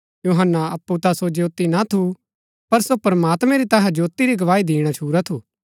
यूहन्‍ना अप्पु ता सो ज्योती ना थू पर सो प्रमात्मैं री तैहा ज्योती री गवाही दिणा छुरा थू